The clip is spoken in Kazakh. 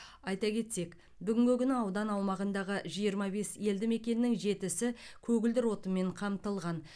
айта кетсек бүгінгі күні аудан аумағындағы жиырма бес елді мекеннің жетісі көгілдір отынмен қамтылған